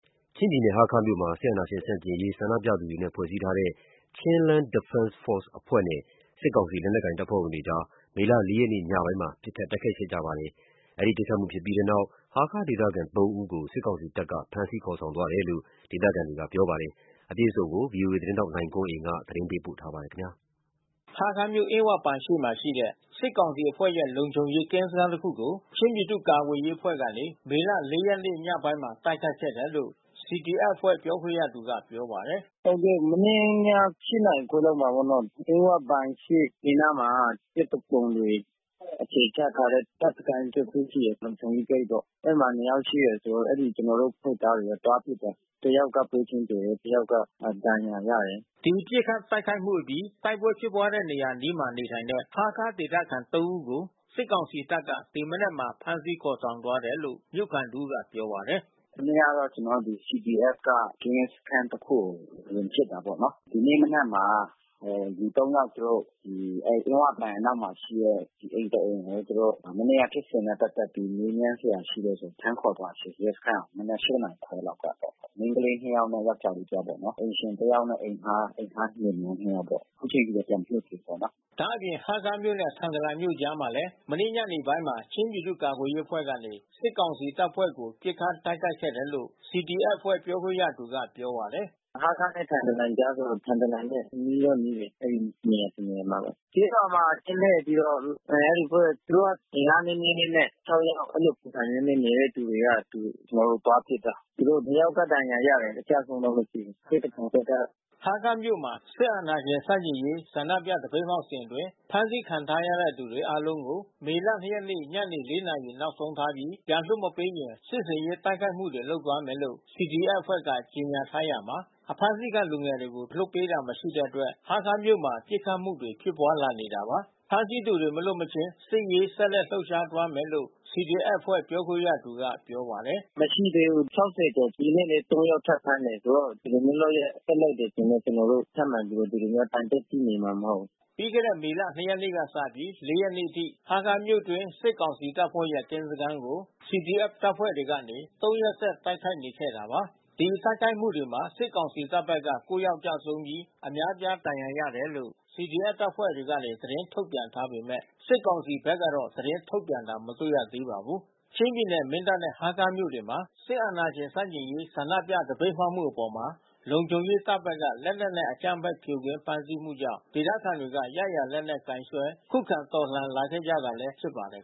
ချင်းပြည်နယ် ဟားခါးမြို့မှာ စစ်အာဏာရှင်ဆန့်ကျင်ရေးဆန္ဒပြသူတွေနဲ့ ဖွဲ့စည်းထားတဲ့ Chinland Defense Force အဖွဲ့နဲ့ စစ်ကောင်စီ လက်နက်ကိုင် တပ်ဖွဲ့ဝင်တွေအကြား မေလ ၄ ရက်နေ့ ညပိုင်းမှာ ပစ်ခတ်တိုက်ခိုက်မှု ဖြစ်ပွါးခဲ့ပါတယ်။ ဒီပစ်ခတ်မှုဖြစ်ပြီးတဲ့နောက် ဟားခါးဒေသခံ သုံးဦးကို စစ်ကောင်စီတပ်က ဖမ်းဆီးခေါ်ဆောင်သွားတယ်လို့ ဒေသခံ တွေကပြောပါတယ်။ အကြောင်းစုံကို ဗွီအိုအေသတင်းထောက် ကိုနိုင်ကွန်းအိန်ကနေပြောပြပေးမှာပါ။ ဟားခါးမြို့ အင်းဝဘဏ်ရှေ့မှာ ရှိတဲ့ စစ်ကောင်စီအဖွဲ့ရဲ့ လုံခြုံရေးကင်းစခန်းတခုကို ချင်းပြည်သူ့ကာကွယ်ရေးအဖွဲ့ကနေ မေလ ၃ ရက်နေ့ ညပိုင်းမှာ တိုက်ခိုက်ခဲ့တယ်လို့ CDF အဖွဲ့ပြောခွင့်ရသူကပြောပါတယ်။ "မနေ့ည ၈ နာရီခွဲလောက်မှာပေါ့နော်။ အင်းဝဘဏ်ရှေ့ ဘေးနားမှာ စစ်သူပုန်တွေအခြေချထားတဲ့ တပ်စခန်းတခု ရှိတယ်။ လုံခြုံရေးဂိတ်ပေါ့။ အဲဒီမှာ ၂ ယောက်ရှိတယ်။ ကျနော်တို့ အဖွဲ့သားတွေ သွားပစ်တယ်။ တယောက်က ပွဲချင်းသေတယ်။ တယောက်က ဒဏ်ရာရတယ်။" ဒီပစ်ခတ်တိုက်ခိုက်မှုအပြီး တိုက်ပွဲဖြစ်ပွားခဲ့တဲ့နေရာအနီးမှာ နေထိုင်တဲ့ ဟားခါးဒေသခံသုံးဦးကို စစ်ကောင်စီတပ်က ဖမ်းဆီးခေါ်ဆောင်သွားတယ်လို့မြို့ခံတဦးက ပြောပါတယ်။ "မနေ့ကတော့ ကျနော်တို့ CDF က ကင်းရဲစခန်းတခုကို ဝင်ပစ်တာပေါ့နော်။ ဒီနေ့ မနက်မှာလူ ၃ ယောက်သူတို့ အဲဒီ အင်းဝဘဏ်အနောက်မှာရှိတဲ့ အိမ်တအိမ်ကို သူတို့က မနေ့ကဖြစ်စဉ်နဲ့ ပတ်သက်ပြီး မေးမြန်းစရာ ရှိတယ်ဆိုပြီး ဖမ်းခေါ်သွားတယ်။ ရဲစခန်းကို မနက် ၈ နာရီခွဲလောက်က။ မိန်းကလေး နှစ်ယောက်နဲ့ ယောကျာ်းလေးတယောက်ပေါ့။ အိမ်ရှင်တယောက်နဲ့ အိမ်ငှါးလင်မယားနှစ်ယောက်ပေါ့။ အခုချိန်ထိတာ့ ပြန်မလွှတ်ပေးသေးဘူးပေါ့နော်။" ဒါ့အပြင် ဟားခါးမြို့နဲ့ ထန်တလန်မြို့အကြားမှာလည်း မနေ့ညနေပိုင်းမှာ ချင်းပြည်သူ့ကာကွယ်ရေးအဖွဲ့ကနေ စစ်ကောင်စီတပ်ဖွဲ့ကို ပစ်ခတ်တိုက်ခိုက်ခဲ့တယ်လို့ CDF အဖွဲ့ပြောခွင့်ရသူကပြောပါတယ်။ "ဟားခါးနဲ့ ထန်တလန်ကြားတော့ ထန်တလန်နဲ့ နီးတော့နီးတယ်။ အဲဒီတနေရာမှာပဲ။ ကျေးရွာတွေမှာ ကင်းလှည့် ပြီးတော့ အဲဒီအဖွဲ့ သူတို့က အင်အားနည်းနည်းလေးနဲ့ ၆ ယောက် အဲဒီလိုပုံစံမျိုးနဲ့ နေတဲ့သူတွေက ကျနော်တို့ သွားပစ်တာ။ သူတို့နှစ်ယောက်တော့ ဒဏ်ရာရတယ်။ အကျဆုံးတော့ မသိဘူး။ စစ်သူပုန်ဘက်က။" ဟားခါးမြို့မှာ စစ်အာဏာရှင်ဆန့်ကျင်ရေးဆန္ဒပြ သပိတ်မှောက်စဉ်အတွင်း ဖမ်းဆီးခံထားရသူတွေ အားလုံးကို မေလ ၂ ရက်နေ့ ညနေ ၄ နာရီနောက်ဆုံးထားပြီး ပြန်လွှတ်မပေးရင် စစ်ဆင်ရေး တိုက်ခိုက်မှုတွေ လုပ်သွားမယ်လို့ CDF အဖွဲ့က ကြေညာထားရာမှာ ဖမ်းဆီးခံလူငယ်တွေကို လွှတ်ပေးတာ မရှိတဲ့အတွက် ဟားခါးမြို့မှာ ပစ်ခတ်မှုတွေဖြစ်ပွါးလာနေပါတယ်။ ဖမ်းဆီးသူတွေ မလွတ်မချင်း စစ်ရေးကို ဆက်လက်လှုပ်ရှားသွားမယ်လို့ CDF အဖွဲ့ပြောခွင့်ရသူကပြောပါတယ်။ "မရှိသေးဘူး။ ၆၀ ကျော်။ ဒီနေ့လည်း ၃ ယောက်ထပ်ဖမ်းတယ်။ ဆိုတော့ ဒီလိုမျိုး လုပ်ရပ်ဆက်လုပ်မယ်ဆိုရင်တော့ ကျနော်တို့ ထပ်မံပြီးတော့ ဒီလိုမျိုးထိုင်ပြီးတော့ ကြည့်နေမှာမဟုတ်ဘူး။" ပီးခဲ့တဲ့ မေလ ၂ ရက်နေ့ကနေ စပြီး ၄ ရက်နေ့အထိ ဟားခါးမြို့အတွင်း စစ်ကောင်စီတပ်ဖွဲ့ရဲ့ကင်းစခန်းတွေကို CDF တပ်ဖွဲ့တွေကနေ ၃ ရက်ဆက် တိုက်ခိုက်နေခဲ့တာပါ။ ဒီတိုက်ခိုက်မှုတွေမှာ စစ်ကောင်စီတပ်ဘက်က ၉ ယောက်ကျဆုံးပြီး အများပြားဒဏ်ရာရတယ်လို့ CDF တပ်ဖွဲ့ကနေ သတင်းထုတ်ပြန်ထားပေမဲ့ စစ်ကောင်စီဘက်ကတော့ သတင်းထုတ်ပြန်တာ မတွေ့ရသေးပါဘူး။ ချင်းပြည်နယ် မင်းတပ်နဲ့ ဟားခါးမြို့တွေမှာ စစ်အာဏာရှင်ဆန့်ကျင်ရေး ဆန္ဒပြသပိတ်မှောက်မှုအပေါ် လုံခြုံရေးတပ်တွေဘက်က လက်နက်နဲ့ အကြမ်းဖက်ဖြိုခွင်း ဖမ်းဆီးမှုကြောင့် ဒေသခံတွေကရရာ လက်နက်ကိုင်စွဲ ခုခံတော်လှန်လာခဲ့ကြတာလည်း ဖြစ်ပါတယ်